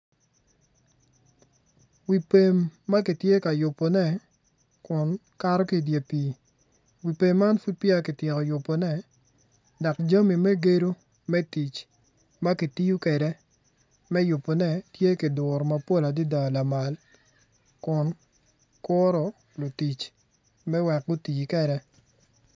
Wi pem ma kitye ka yubone kun kato ki idye pii wi pem man pud peya kityeko yubone dok jami me gedo me tic ma kitiyo kwede me yubone tye kiduro mapol adada lamal kun kuro lutic me wek guti kwede.